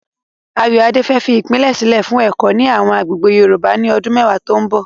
Ayoade fẹ́ fi ìpìlẹ̀ sílẹ̀ fún ẹ̀kọ́ ní àwọn agbègbè Yorùbá ní ọdún mẹ́wàá tó ń bọ̀.